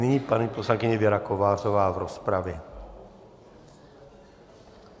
Nyní paní poslankyně Věra Kovářová v rozpravě.